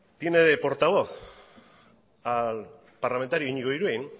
tiene de portavoz al parlamentario iñigo iruin